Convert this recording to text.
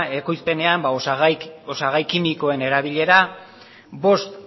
ekoizpenean osagai kimikoen erabilera bost